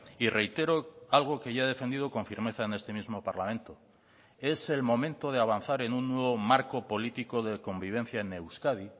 y reitero algo que ya he defendido con firmeza en este mismo parlamento es el momento de avanzar en un nuevo marco político de convivencia en euskadi